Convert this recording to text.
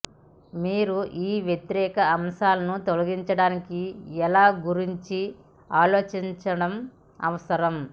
మీరు ఈ వ్యతిరేక అంశాలను తొలగించడానికి ఎలా గురించి ఆలోచించడం అవసరం